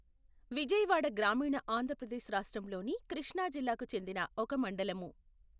విజయవాడ గ్రామీణ ఆంధ్ర ప్రదేశ్ రాష్ట్రంలోని కృష్ణా జిల్లాకు చెందిన ఒక మండలము.